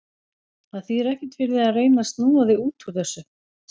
Það þýðir ekkert fyrir þig að reyna að snúa þig út úr þessu.